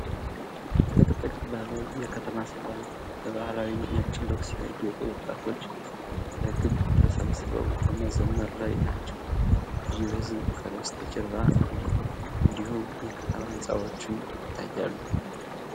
ጥቅጥቅ ባለ የከተማ ስፍራ፣ በባህላዊ ነጭ ልብስ ያጌጡ ወጣቶች በክብ ተሰብስበው በመዘመር ላይ ናቸው። ብዙ ሕዝብ ከበስተጀርባ አለ፣ እንዲሁም የከተማ ሕንፃዎችም ይታያሉ።